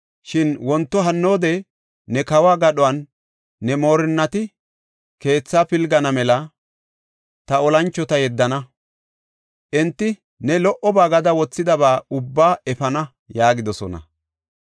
Shin wonto hannoode ne kawo gadhuwanne ne moorinnata keethaa pilgana mela ta oosanchota yeddana. Enti ne lo77oba gada wothidaba ubbaa efana” yaagidosona.